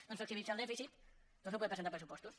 no ens flexibilitza el dèficit doncs no podem presentar pressupostos